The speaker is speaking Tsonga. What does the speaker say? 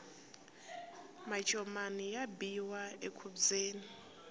macomani ya biwa enkhubyeni